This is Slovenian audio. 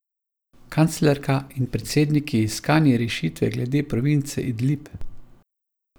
Kanclerka in predsedniki iskanje rešitve glede province Idlib.